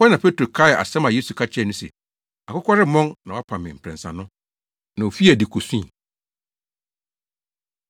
Ɛhɔ na Petro kaee asɛm a Yesu ka kyerɛɛ no se, “Akokɔ remmɔn na woapa me mprɛnsa” no. Na ofii adi kosui.